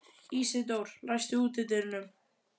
Ísidór, læstu útidyrunum.